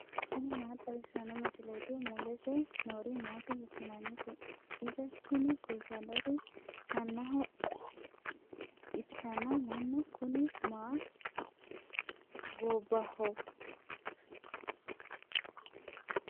tini maa xawissanno misileeti ? mulese noori maati ? hiissinannite ise ? tini kultannori mannaho ikkina mannu kuni ma gobbaho.